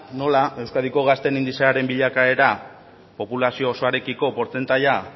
nola euskadiko gazteen indizearen bilakaera populazio osoarekiko portzentaia